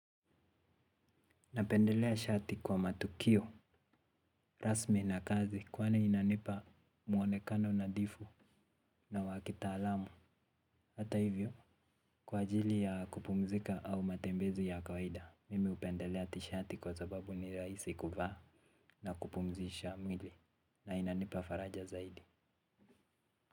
Napendelea shati kwa matukio, rasmi na kazi kwani inanipa mwonekano nadhifu na wa kitaalamu. Hata hivyo, kwa ajili ya kupumzika au matembezi ya kawaida, mimi hupendelea tishati kwa sababu ni rahisi kuvaa na kupumzisha mwili na inanipa faraja zaidi.